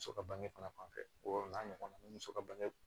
Muso ka bange fana fanfɛ wo n'a ɲɔgɔnna ni muso ka bange